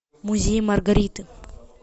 музей маргариты